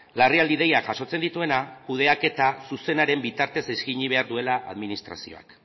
larrialdi deiak jasotzen dituena kudeaketa zuzenaren bitartez eskaini behar duela administrazioak